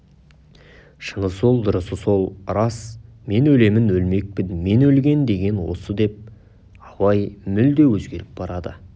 шыны сол дұрысы сол рас мен өлемін өлмекпін мен өлген деген осы деп абай мүлде өзгеріп барады